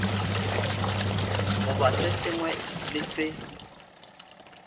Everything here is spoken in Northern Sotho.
goba se sengwe le se